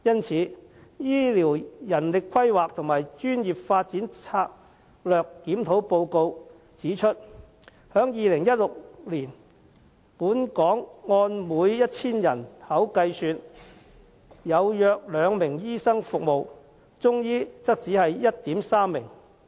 此外，《醫療人力規劃和專業發展策略檢討報告》指出，在2016年，本港每 1,000 名人口，有約2名醫生服務，中醫則有 1.3 名。